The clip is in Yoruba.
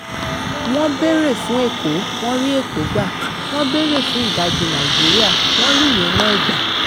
wọ́n béèrè fún èkó wọn rí èkó gbà wọ́n béèrè fún ìdajì nàìjíríà wọn rí ìyẹn náà gbà